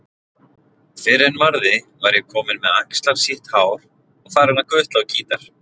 Fyrr en varði var ég kominn með axlarsítt hár og farinn að gutla á gítar.